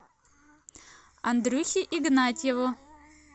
андрюхе игнатьеву